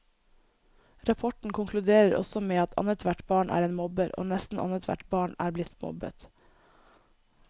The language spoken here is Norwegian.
Rapporten konkluderer også med at annethvert barn er en mobber, og nesten annethvert barn er blitt mobbet.